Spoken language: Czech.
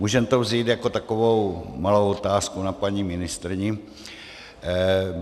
Můžeme to vzít jako takovou malou otázku na paní ministryni.